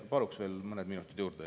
Palun veel mõned minutid juurde.